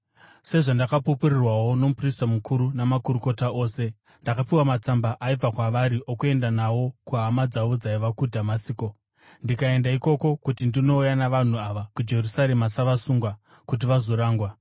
sezvandingapupurirwawo nomuprista mukuru namakurukota ose. Ndakapiwa matsamba aibva kwavari okuenda nawo kuhama dzavo dzaiva muDhamasiko, ndikaenda ikoko kuti ndinouya navanhu ava kuJerusarema savasungwa kuti vazorangwa.